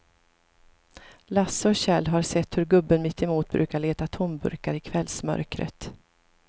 Lasse och Kjell har sett hur gubben mittemot brukar leta tomburkar i kvällsmörkret.